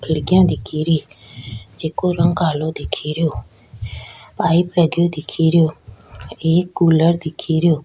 खिड़कियां दिख री जेको रंग कालो दिखे रो पाइप लगो दीख रो एक कूलर दिखेरो।